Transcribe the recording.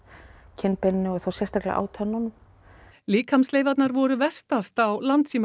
kinnbeinunum og þá sérstaklega á tönnunum voru vestast á